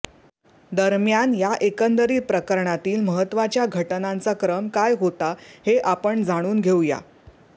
दरम्यान या एकंदरित प्रकरणातील महत्त्वाच्या घटनांचा क्रम काय होता हे आपण जाणून घेऊया